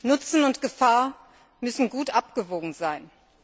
Nutzen und Gefahr müssen gut abgewogen sein.